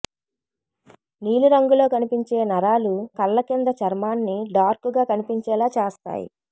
నీలి రంగులో కనిపించే నరాలు కళ్ల కింద చర్మాన్ని డార్క్ గా కనిపించేలా చేస్తాయి